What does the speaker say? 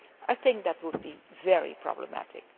I think that would be very problematic.